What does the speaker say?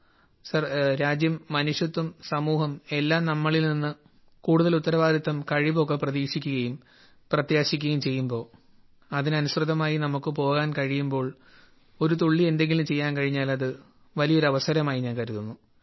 sir രാജ്യം മനുഷ്യത്വം സമൂഹം എല്ലാം നാമ്മളിൽ നിന്ന് കൂടുതൽ ഉത്തരവാദിത്വം കഴിവ് ഒക്കെ പ്രതീക്ഷിക്കുകയും പ്രത്യാശിക്കുകയും ചെയ്യുമ്പോൾ അതിന് അനുസൃതമായി നമുക്ക് പോകാൻ കഴിയുമ്പോൾ ഒരു തുള്ളി എന്തെങ്കിലും ചെയ്യാൻ കഴിഞ്ഞാൽ അത് വലിയൊരു അവസരമായി ഞാൻ കരുതുന്നു